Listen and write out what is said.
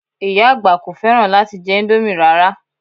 Ìyá àgbà kò fẹ́ràn láti jẹ indomie rara